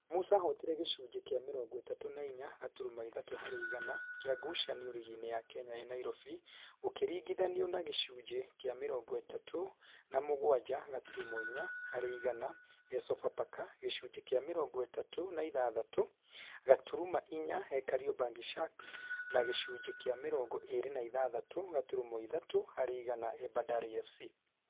Musa ahotire gĩcunjĩ kĩa mĩrongo ĩtatũ na inya gaturuma ithatũ harĩ igana kĩa ngucanio rigi-inĩ ya Kenya e Nairobi, gũkĩringithanio na gĩcunjĩ kĩa mĩrongo ĩtatũ na mũgwanja gaturuma inya harĩ igana e Sofapaka, gĩcunjĩ kĩa mĩrongo ĩtatũ na ĩtandatũ gaturuma inya e Kariobangi Sharks na gĩcunjĩ kĩa mĩrongo ĩrĩ na ithathatũ gaturuma ithatũ harĩ igana e Bandari FC.